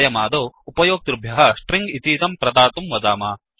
वयमादौ उपयोक्तृभ्यः स्ट्रिङ्ग् इतीदं प्रदातुं वदाम